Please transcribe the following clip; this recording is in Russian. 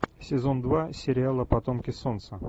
сезон два сериала потомки солнца